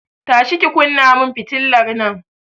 Tashi ki kunna mun fitilar nan!